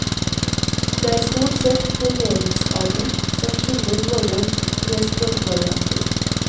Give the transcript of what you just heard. Det er stort sett normeringsavik som skiller våre tre språkvarianter.